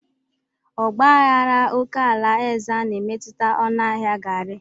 Ọgba aghara oke ala Ezza na-emetụta ọnụ ahịa garri.